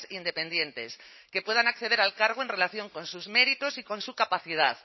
independientes que puedan acceder al cargo en relación con sus méritos y con su capacidad